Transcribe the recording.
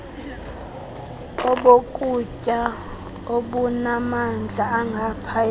obokutya obunamandla angaphaya